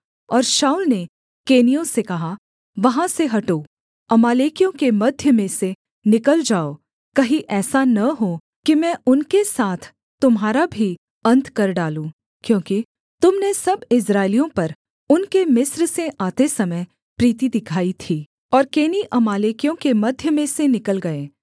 और शाऊल ने केनियों से कहा वहाँ से हटो अमालेकियों के मध्य में से निकल जाओ कहीं ऐसा न हो कि मैं उनके साथ तुम्हारा भी अन्त कर डालूँ क्योंकि तुम ने सब इस्राएलियों पर उनके मिस्र से आते समय प्रीति दिखाई थी और केनी अमालेकियों के मध्य में से निकल गए